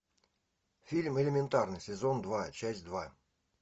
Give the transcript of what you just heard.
фильм элементарно сезон два часть два